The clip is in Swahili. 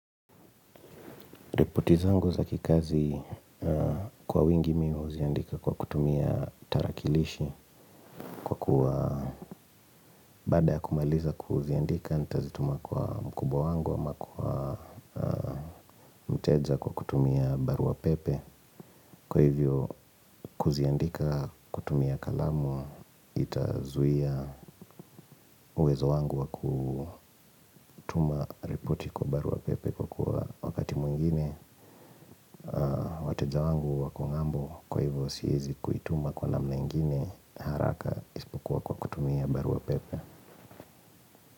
Ripoti zangu za kikazi kwa wingi mi huziandika kwa kutumia tarakilishi Kwa kuwa baada ya kumaliza kuziandika nitazituma kwa mkubwa wangu ama kwa mteja kwa kutumia barua pepe Kwa hivyo kuziandika kutumia kalamu itazuia uwezo wangu wa kutuma ripoti kwa barua pepe Kwa kuwa wakati mwingine wateja wangu wako ng'ambo kwa hivyo siezi kuituma kwa namna ingine haraka isipokuwa kwa barua pepe.